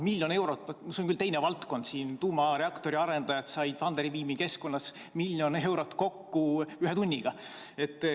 See on küll teine valdkond, aga tuumareaktori arendajad said Funderbeami keskkonnas miljon eurot kokku ühe tunniga.